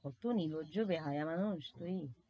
কতো নির্লজ্জ বেহায়া মানুষ তুই।